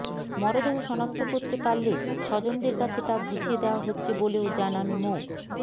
মরদেহ শনাক্ত করতে পারলে স্বজনদের কাছে তা বুঝিয়ে দেওয়া হচ্ছে বলেও জানান মো